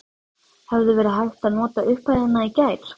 Hefði verið hægt að nota upphæðina í gær?